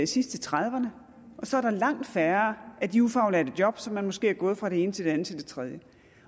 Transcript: sidst i trediverne og så er der langt færre af de ufaglærte job så man måske er gået fra det ene til det andet til det tredje